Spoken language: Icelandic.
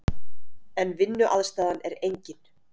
En vinnuaðstaðan er engin.